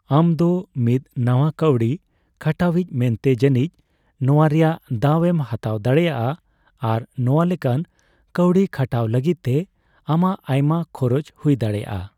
ᱟᱢ ᱫᱚ ᱢᱤᱫ ᱱᱟᱣᱟ ᱠᱟᱣᱰᱤ ᱠᱷᱟᱴᱟᱣᱤᱡ ᱢᱮᱱᱛᱮ ᱡᱟᱹᱱᱤᱡ ᱱᱚᱣᱟ ᱨᱮᱭᱟᱜ ᱫᱟᱣ ᱮᱢ ᱦᱟᱛᱟᱣ ᱫᱟᱲᱮᱭᱟᱜᱼᱟ, ᱟᱨ ᱱᱚᱣᱟ ᱞᱮᱠᱟᱱ ᱠᱟᱣᱰᱤ ᱠᱷᱟᱴᱟᱣ ᱞᱟᱹᱜᱤᱫ ᱛᱮ ᱟᱢᱟᱜ ᱟᱭᱢᱟ ᱠᱷᱚᱨᱚᱪ ᱦᱩᱭ ᱫᱟᱲᱮᱭᱟᱜᱼᱟ ᱾